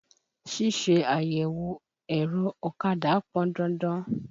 Ṣíṣe àyẹ̀wò ẹ̀rọ ọ̀kadà pọn dandan.